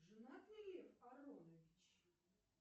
женат ли лев ааронович